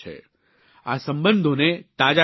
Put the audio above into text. આ સંબંધોને તાજા કરવાનો છે